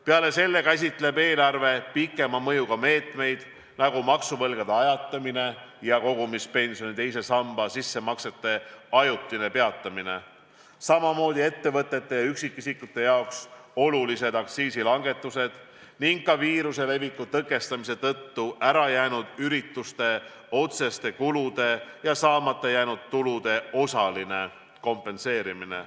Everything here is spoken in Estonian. Peale selle käsitleb eelarve pikema mõjuga meetmeid, näiteks maksuvõlgade ajatamine ja kogumispensioni teise samba sissemaksete ajutine peatamine, aga ka ettevõtete ja üksikisikute jaoks olulised aktsiisilangetused ning viiruse leviku tõkestamise tõttu ära jäetud ürituste otseste kulude ja saamata jäänud tulude osaline kompenseerimine.